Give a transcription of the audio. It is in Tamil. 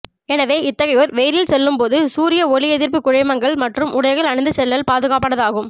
எனவே இத்தகையோர் வெயிலில் செல்லும் போது சூரிய ஒளியெதிர்ப்புக் குழைமங்கள் மற்றும் உடைகளை அணிந்துச் செல்லல் பாதுகாப்பானது ஆகும்